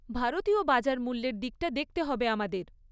ভারতীয় বাজার মূল্যের দিকটা দেখতে হবে আমাদের।